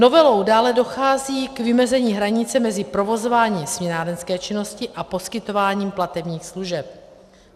Novelou dále dochází k vymezení hranice mezi provozováním směnárenské činnosti a poskytováním platebních služeb.